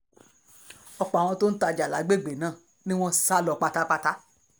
ọ̀pọ̀ àwọn tó ń tajà ní àgbègbè náà ni wọ́n sá lọ pátápátá